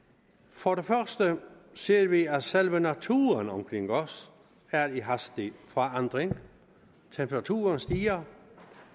for det første ser vi at selve naturen omkring os er i hastig forandring temperaturen stiger